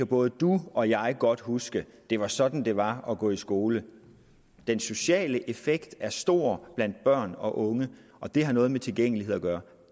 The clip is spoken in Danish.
både du og jeg kan godt huske at det var sådan det var at gå i skole den sociale effekt er stor blandt børn og unge og det har noget med tilgængelighed at gøre